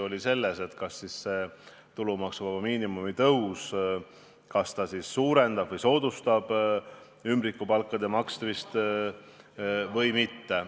Oli debatt, kas tulumaksuvaba miinimumi tõus soodustab ümbrikupalkade maksmist või mitte.